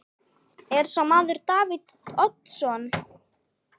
Er sá maður Davíð Oddsson?